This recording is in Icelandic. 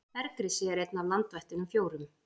Bergrisi er einn af landvættunum fjórum.